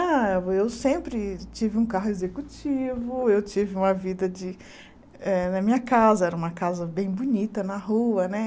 Ah, eu sempre tive um carro executivo, eu tive uma vida de eh... Na minha casa, era uma casa bem bonita na rua, né?